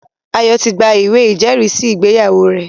Ayo ti gba ìwé ìjẹ́rìísí ìgbéyàwó rẹ̀